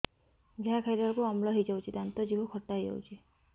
ଯାହା ଖାଇଲା ବେଳକୁ ଅମ୍ଳ ହେଇଯାଉଛି ଦାନ୍ତ ଜିଭ ଖଟା ହେଇଯାଉଛି